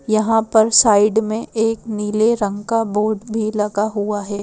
यहाँ पर साइड में एक नीले रंग का बोर्ड भी लगा हुआ है।